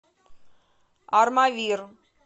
армавир